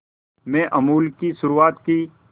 में अमूल की शुरुआत की